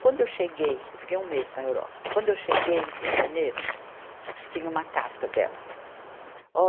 Quando eu cheguei, eu fiquei um mês na Europa, quando eu cheguei em janeiro, tinha uma carta dela.